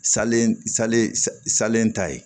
Salen salen salen ta ye